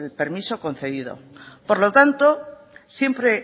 permiso concedido por lo tanto siempre